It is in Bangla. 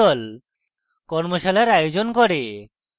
tutorials ব্যবহার করে কর্মশালার আয়োজন করে